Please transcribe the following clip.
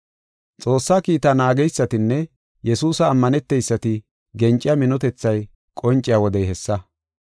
Xoossaa kiitaa naageysatinne Yesuusa ammaneteysati genciya minotethay qonciya wodey hessa.